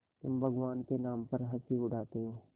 तुम भगवान के नाम पर हँसी उड़ाते हो